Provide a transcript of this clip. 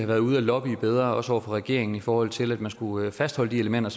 været ude og lobbye bedre også over for regeringen i forhold til at man skulle fastholde de elementer